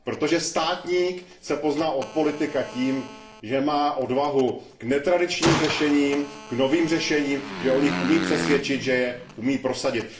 Protože státník se pozná od politika tím, že má odvahu k netradičním řešením, k novým řešením, že o nich umí přesvědčit, že je umí prosadit.